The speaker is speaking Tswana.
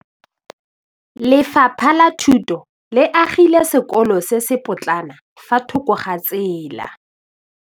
Lefapha la Thuto le agile sekôlô se se pôtlana fa thoko ga tsela.